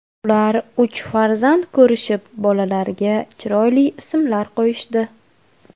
Ular uch farzand ko‘rishib, bolalarga chiroyli ismlar qo‘yishdi.